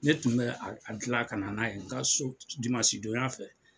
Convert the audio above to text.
Ne tun bɛ a dilan ka na n'a ye n ka so dimansi donya fɛ.